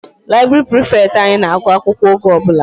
Library prefect anyị na-agụ akwụkwọ oge ọbụla.